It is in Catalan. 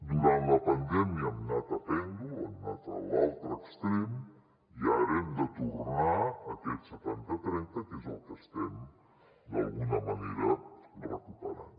durant la pandèmia hem anat a pèndol hem anat a l’altre extrem i ara hem de tornar a aquest setanta trenta que és el que estem d’alguna manera recuperant